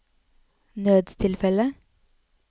nødstilfelle